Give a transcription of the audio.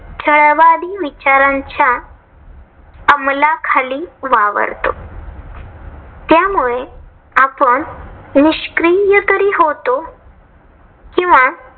छळवादी विचारांच्या अमलाखाली वावरतो. त्यामुळे आपण निष्क्रिय तरी होतो. किंवा